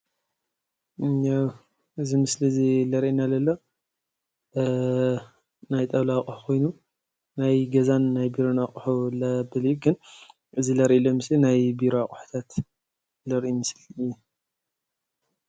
እዚ ምስሊ ዘርእየና ዘሎ ናይ ጣውላ ኣቁሑ ኮይኑ ናይ ገዛን ናይ ቢሮን ኣቁሑ ዝኮን እዩ፡፡ እዚ ዘርእየና ዘሎ ናይ ቢሮታት ኣቁሑት ዘርኢ ምስሊ እዩ፡፡